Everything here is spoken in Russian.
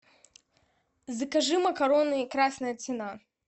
закажи макароны красная цена